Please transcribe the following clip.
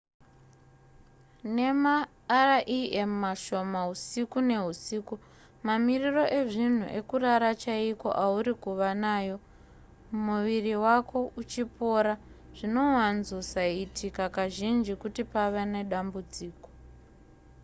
nemarem mashoma husiku nehusiku mamiriro ezvinhu ekurara chaiko auri kuva nayo muviri wako uchipora zvinowanzosaitika kazhinji kuti pave nedambudziko